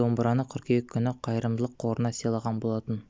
домбыраны қыркүйек күні қайырымдылық қорына силаған болатын